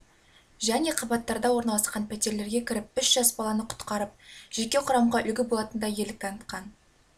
және қабаттарда орналасқан пәтерлерге кіріп үш жас баланы құтқарып жеке құрамға үлгі болатындай ерлік танытқан